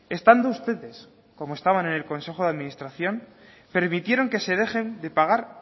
estando ustedes como estaban en el consejo de administración permitieron que se dejen de pagar